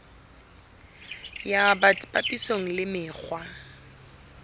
ya bt papisong le mekgwa